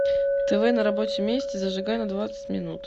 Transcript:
тв на рабочем месте зажигай на двадцать минут